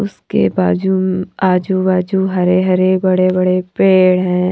उसके बाजू मं आजू बाजू हरे हरे बड़े बड़े पेड़ हैं।